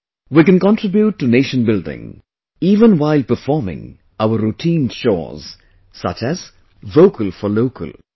We can contribute to nation building even while performing our routine chores...such as 'Vocal for Local'